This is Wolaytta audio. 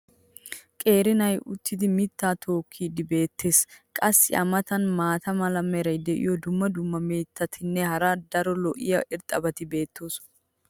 qeeri na"ay uttidi mitaa tokkiidi beetees. qassi a matan maata mala meray diyo dumma dumma mitatinne hara daro lo'iya irxxabati beetoosona.